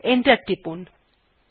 enter টিপলাম